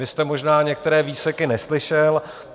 Vy jste možná některé výseky neslyšel.